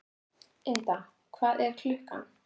Ynda, hvað er klukkan?